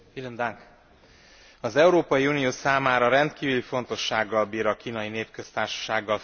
Az Európai Unió számára rendkívül fontossággal bír a Kínai Népköztársasággal fenntartott kapcsolat.